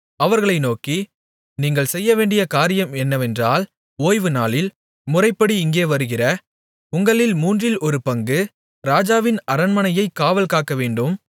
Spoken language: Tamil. அவர்களை நோக்கி நீங்கள் செய்யவேண்டிய காரியம் என்னவென்றால் ஓய்வுநாளில் முறைப்படி இங்கே வருகிற உங்களில் மூன்றில் ஒரு பங்கு ராஜாவின் அரண்மனையைக் காவல் காக்கவேண்டும்